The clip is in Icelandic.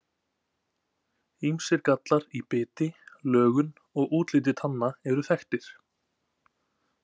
Ýmsir gallar í biti, lögun og útliti tanna eru þekktir.